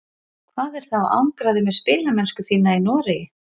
Hvað er þá að angra þig með spilamennsku þína í Noregi?